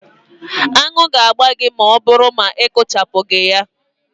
Aṅụ ga-agba gị ma ọ bụrụ na ị kpachapụghị anya